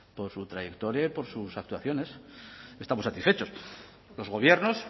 por su trayectoria y por sus actuaciones estamos satisfechos los gobiernos